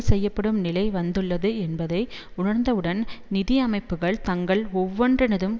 செய்யப்படும் நிலை வந்துள்ளது என்பதை உணர்வதுடன் நிதி அமைப்புக்கள் தங்கள் ஒவ்வொன்றினதும்